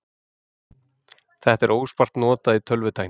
Þetta er óspart notað í tölvutækni.